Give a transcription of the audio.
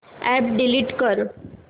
app delete कर